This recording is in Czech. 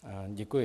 Děkuji.